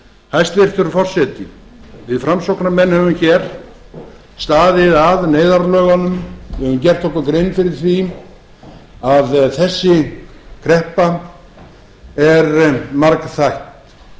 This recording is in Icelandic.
hæstvirtur forseti við framsóknarmenn höfum hér staðið að neyðarlögunum við höfum gert okkur grein fyrir því að þessi kreppa er margþætt